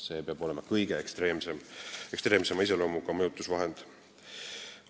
See peab olema kõige ekstreemsema iseloomuga mõjutusvahend.